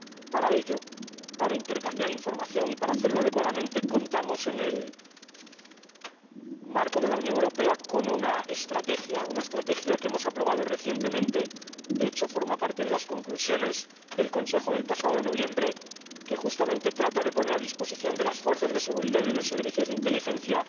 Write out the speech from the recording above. Para intercambiar información y para hacerlo adecuadamente, contamos en el marco de la Unión Europea con una estrategia que hemos aprobado recientemente —de hecho forma parte de las conclusiones del Consejo del pasado noviembre—, que, justamente, trata de poner a disposición de las fuerzas de seguridad y de los servicios de inteligencia